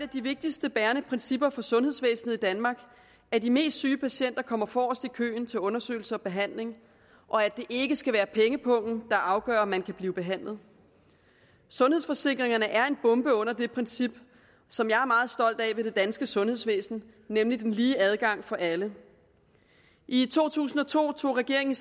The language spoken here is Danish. de vigtigste bærende principper for sundhedsvæsenet i danmark at de mest syge patienter kommer forrest i køen til undersøgelse og behandling og at det ikke skal være pengepungen der afgør om man kan blive behandlet sundhedsforsikringerne er en bombe under det princip som jeg er meget stolt af ved det danske sundhedsvæsen nemlig den lige adgang for alle i to tusind og to tog regeringen